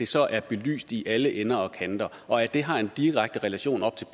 så er det belyst i alle ender og kanter og at det har en direkte relation op til